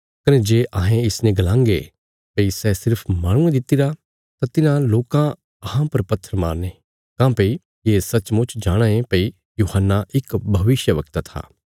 कने जे अहें इसने गलांगे भई सै सिर्फ माहणुयें दितिरा तां तिन्हां लोकां अहां पर पत्थर मारने काँह्भई ये सचमुच जाणाँ ये भई यूहन्ना इक भविष्यवक्ता था